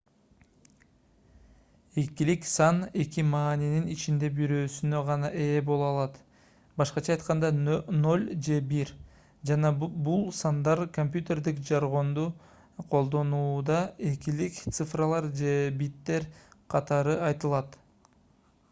экилик сан эки маанинин ичинен бирөөсүнө гана ээ боло алат б.а. 0 же 1 жана бул сандар компьютердик жаргонду колдонууда экилик цифралар же биттер катары айтылат